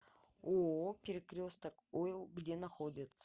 ооо перекресток ойл где находится